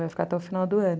Vai ficar até o final do ano.